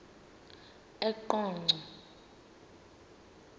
eqonco